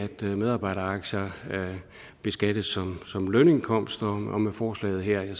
medarbejderaktier beskattes som lønindkomst og med forslaget her